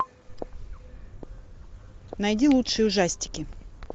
найди лучшие ужастики